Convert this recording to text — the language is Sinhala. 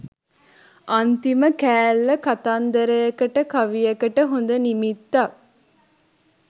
අන්තිම කෑල්ල කතන්දරයකට කවියකට හොඳ නිමිත්තක්